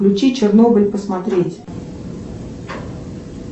включи чернобыль посмотреть